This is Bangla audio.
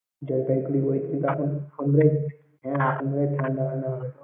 জলপাইগুঁড়ি গেলে কি ? ঠাণ্ডা ঠাণ্ডা লাগে।